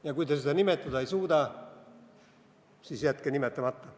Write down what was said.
Ja kui te seda nimetada ei suuda, siis jätke nimetamata.